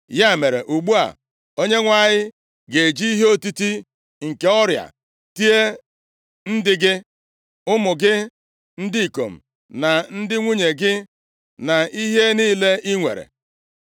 Ya mere, ugbu a, Onyenwe anyị ga-eji ihe otiti nke ọrịa tie ndị gị, ụmụ gị ndị ikom, na ndị nwunye gị, na ihe niile i nwere.